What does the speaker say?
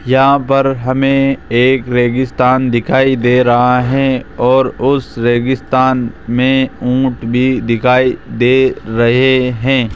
यहां पर हमें एक रेगिस्तान दिखाई दे रहा है और उस रेगिस्तान में ऊंट भी दिखाई दे रहे हैं।